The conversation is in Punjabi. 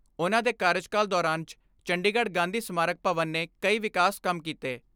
ਉਨ੍ਹਾਂ ਦੇ ਕਾਰਜਕਾਲ ਦੌਰਾਨ 'ਚ ਚੰਡੀਗੜ੍ਹ ਗਾਂਧੀ ਸਮਾਰਕ ਭਵਨ ਨੇ ਕਈ ਵਿਕਾਸ ਕੰਮ ਕੀਤੇ।